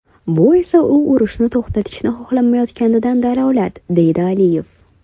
Bu esa u urushni to‘xtatishni xohlamayotganidan dalolat”, deydi Aliyev.